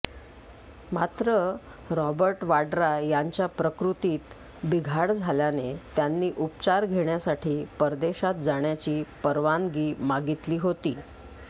मात्र रॉबर्ट वाड्रा यांच्या प्रकृतीत बिघाड झाल्याने त्यांनी उपचार घेण्यासाठी परदेशात जाण्याची परवानगी मागितली होती